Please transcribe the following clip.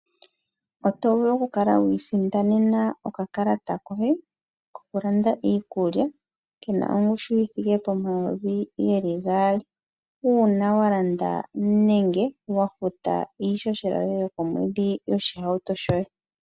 Oto vulu okukala wi isindanena okakalata koye kokulanda iikulya ke na ongushu yi thike pomayovi ge li gaali. Uuna wa landa nenge wa futa iishoshela yoye yokomwedhi yoshihauto shoye.